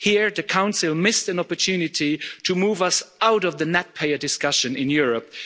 Here the Council missed an opportunity to move us out of the net payer discussion in Europe.